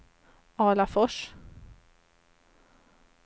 Alafors